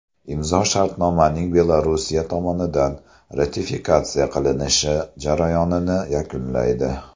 Imzo shartnomaning Belorussiya tomonidan ratifikatsiya qilinishi jarayonini yakunlaydi.